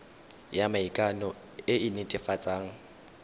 ya maikano e e netefatsang